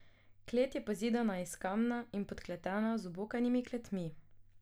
Klet je pozidana iz kamna in podkletena z obokanimi kletmi.